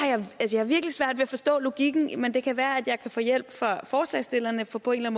jeg har virkelig svært ved at forstå logikken men det kan være at jeg kan få hjælp af forslagsstillerne for på en